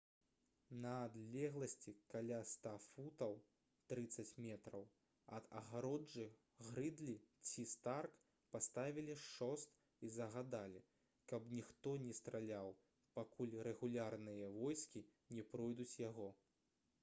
на адлегласці каля 100 футаў 30 метраў ад агароджы грыдлі ці старк паставілі шост і загадалі каб ніхто не страляў пакуль рэгулярныя войскі не пройдуць яго